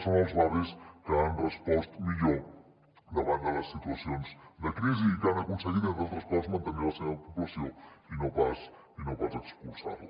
són els barris que han respost millor davant de les situacions de crisi i que han aconseguit entre altres coses mantenir la seva població i no pas expulsar la